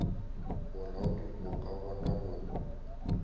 bolaodi bo ka bona go